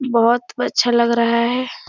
बोहोत अच्छा लग रहा है।